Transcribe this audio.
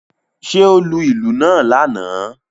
Ṣé ó lù ìlú náà lánàá?